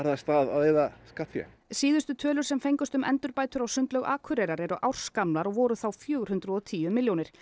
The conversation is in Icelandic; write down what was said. af stað að eyða skattfé síðustu tölur sem fengust um endurbætur á sundlaug Akureyrar eru ársgamlar og voru þá fjögur hundruð og tíu milljónir